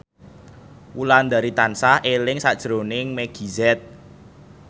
Wulandari tansah eling sakjroning Meggie Z